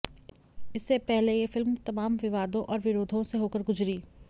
इससे पहले यह फिल्म तमाम विवादों और विरोधों से होकर गुजरी